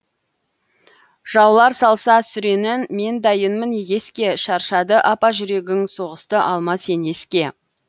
жаулар салса сүренін мен дайынмын егеске шаршады апа жүрегің соғысты алма сен еске